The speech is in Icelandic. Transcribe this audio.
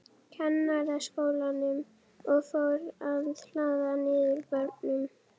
Kennaraskólanum, og fór að hlaða niður börnum.